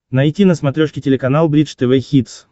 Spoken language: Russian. найти на смотрешке телеканал бридж тв хитс